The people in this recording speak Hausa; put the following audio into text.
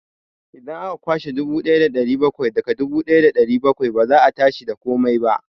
Idan aka kwashe dubu ɗaya da ɗari bakwai daga dubu ɗaya da ɗari bakwai, ba za a tashi da komai ba.